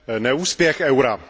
neúspěch eura.